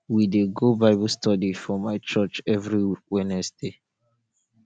we dey go bible study for my church every wednesday